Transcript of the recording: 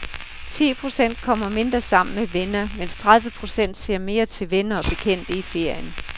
Ti procent kommer mindre sammen med venner, mens tredive procent ser mere til venner og bekendte i ferien.